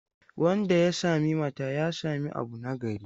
Wanda ya sami mata, ya sami abu nagari.